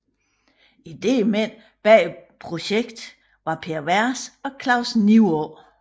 Idémændene bag projektet var Per Vers og Claus Nivaa